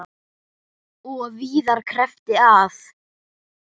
Og víðar kreppti að.